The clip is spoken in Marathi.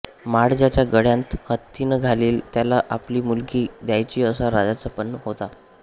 माळ ज्याच्या गळ्यांत हत्तिण घालील त्याला आपली मुलगी द्यायची असा राजाचा पण होता